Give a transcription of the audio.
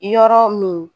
Yɔrɔ min